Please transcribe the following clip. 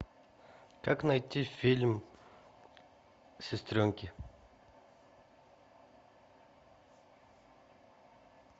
как найти фильм сестренки